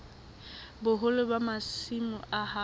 boholo ba masimo a hao